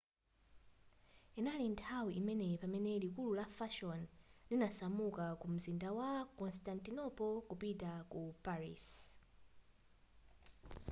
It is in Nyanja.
inali nthawi imeneyi pamene likulu la fashion linasamuka ku mzinda wa constantinople kupita ku paris